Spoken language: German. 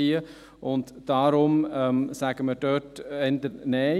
Deshalb sagen wir dort eher Nein.